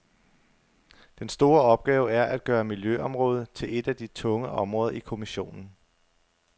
Den store opgave er at gøre miljøområdet til et af de tunge områder i kommissionen.